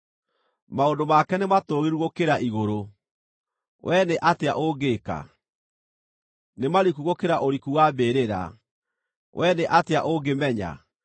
Maũndũ make nĩmatũũgĩru gũkĩra igũrũ, wee nĩ atĩa ũngĩka? Nĩ mariku gũkĩra ũriku wa mbĩrĩra, wee nĩ atĩa ũngĩmenya?